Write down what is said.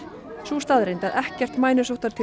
sú staðreynd að ekkert mænusóttartilfelli